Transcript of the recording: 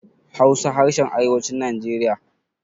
Hausa harshen arewacin najeriya